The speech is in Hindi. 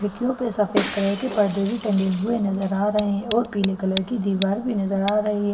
खिड़कियों पे सफेद कलर के पर्दे भी टंगे हुए नजर आ रहे हैं और पीले कलर की दीवार भी नजर आ रही है।